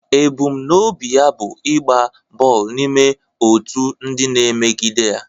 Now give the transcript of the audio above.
Ebumnobi ya bụ ịgba bọọlụ n'ime otu ndị na-emegide ya.